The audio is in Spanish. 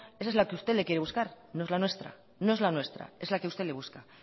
esa es la que usted le quiere buscar no es la nuestra no es la nuestra es la que usted le busca